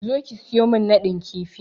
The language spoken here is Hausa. Zo ki siyo min nadin kifi!